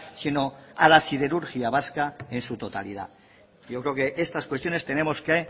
sino a la siderurgia vasca en su totalidad yo creo que estas cuestiones tenemos que